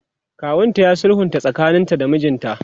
kawunta ya sulhunta tsakanin ta da mijinta